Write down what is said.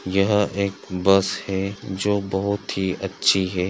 यहा एक बस है जो बोहोत ही अच्छी है ।